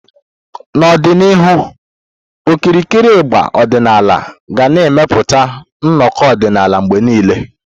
N'ọdịnihu, okirikiri ịgbà ọdịnala ga na-eweta nnọkọ ọdịnala mgbe niile.